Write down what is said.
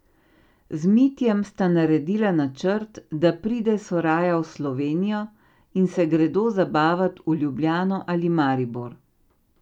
Z Mitjem sta naredila načrt, da pride Soraja v Slovenijo in se gredo zabavat v Ljubljano ali Maribor.